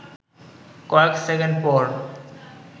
কয়েক সেকেন্ড পর